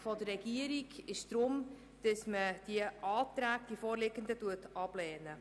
Die Regierung beantragt deshalb, die vorliegenden Anträge abzulehnen.